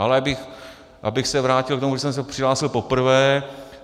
Ale abych se vrátil k tomu, kdy jsem se přihlásil poprvé.